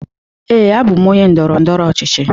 Ee, abụ m onye ndọrọ ndọrọ ọchịchị.